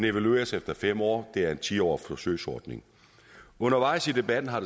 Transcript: evalueres efter fem år det er en ti årig forsøgsordning undervejs i debatten har